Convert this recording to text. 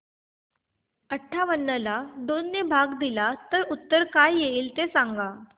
अठावन्न ला दोन ने भाग दिला तर उत्तर काय येईल ते सांगा